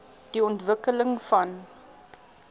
die ontwikkeling van